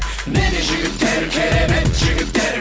міне жігіттер керемет жігіттер